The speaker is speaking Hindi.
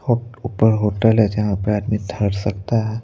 और ऊपर होटल है जहां पे आदमी धड़ सकता है।